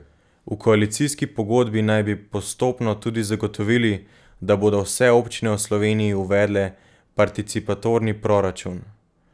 V koalicijski pogodbi naj bi postopno tudi zagotovili, da bodo vse občine v Sloveniji uvedle participatorni proračun.